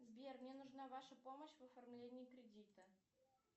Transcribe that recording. сбер мне нужна ваша помощь в оформлении кредита